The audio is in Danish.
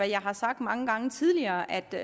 jeg har sagt mange gange tidligere at det